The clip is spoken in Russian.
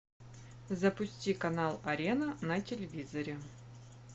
запусти канал арена на телевизоре